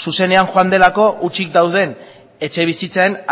zuzenean joan delako utzik dauden etxebizitzen